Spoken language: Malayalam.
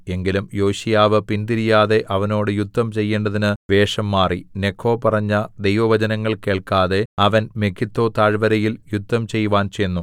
എങ്കിലും യോശീയാവ് പിൻതിരിയാതെ അവനോട് യുദ്ധം ചെയ്യേണ്ടതിന് വേഷംമാറി നെഖോ പറഞ്ഞ ദൈവവചനങ്ങൾ കേൾക്കാതെ അവൻ മെഗിദ്ദോ താഴ്വരയിൽ യുദ്ധം ചെയ്‌വാൻ ചെന്നു